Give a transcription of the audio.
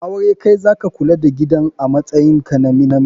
A aure Kai zaka Kula da gidan amatsayin ka na Namji